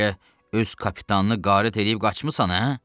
Bəlkə öz kapitanını qarət eləyib qaçmısan, hə?